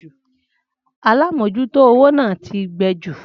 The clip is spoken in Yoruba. Alámòjútó owó náà ti gbẹ ju